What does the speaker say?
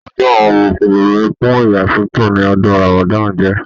Ọdún àwọn mùsùlùmí fún ìyasọtọ ní ọdún ramadan jẹ.